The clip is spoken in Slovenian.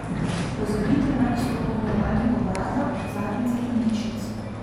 Pozabite na izpopolnjevanje obraza, zadnjice in ličnic.